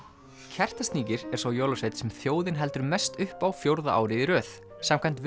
Kertasníkir er sá jólasveinn sem þjóðin heldur mest upp á fjórða árið í röð samkvæmt